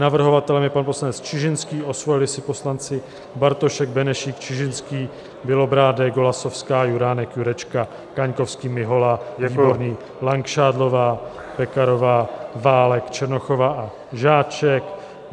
Navrhovatelem je pan poslanec Čižinský, osvojili si poslanci Bartošek, Benešík, Čižinský, Bělobrádek, Golasowská, Juránek, Jurečka, Kaňkovský, Mihola, Výborný, Langšádlová, Pekarová, Válek, Černochová a Žáček.